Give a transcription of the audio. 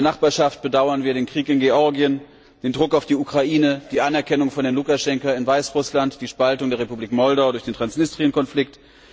In der Nachbarschaft bedauern wir den Krieg mit Georgien, den Druck auf die Ukraine, die Anerkennung von Herrn Lukaschenka in Weißrussland, die Spaltung der Republik Moldau durch den Transnistrien Konflikt.